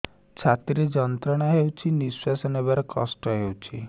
ଛାତି ରେ ଯନ୍ତ୍ରଣା ହେଉଛି ନିଶ୍ଵାସ ନେବାର କଷ୍ଟ ହେଉଛି